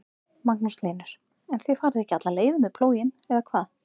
Magnús Hlynur: En þið farið ekki alla leið með plóginn eða hvað?